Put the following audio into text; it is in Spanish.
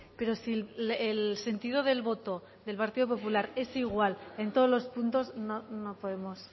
pero si el sentido del voto del partido popular es igual en todos los puntos no podemos